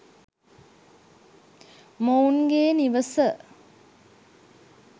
මොවුන්ගේ නිවස